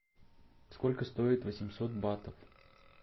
сколько стоит восемьсот батов